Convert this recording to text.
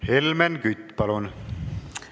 Helmen Kütt, palun!